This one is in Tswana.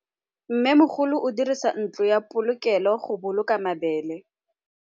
Mmêmogolô o dirisa ntlo ya polokêlô, go boloka mabele.